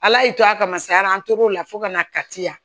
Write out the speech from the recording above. Ala y'i to a kama saran t'o la fo kana kati yan